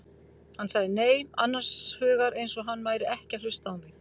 Hann sagði nei, annars hugar eins og hann væri ekki að hlusta á mig.